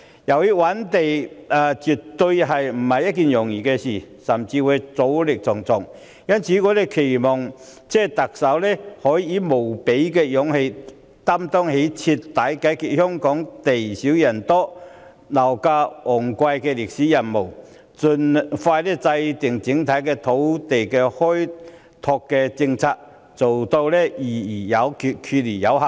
由於覓地絕非易事，甚至阻力重重，因此我們期望特首能夠以無比的勇氣，擔當起徹底解決香港地少人多、樓價昂貴問題的歷史任務，盡快制訂整體的土地開拓政策，做到議而有決，決而有行。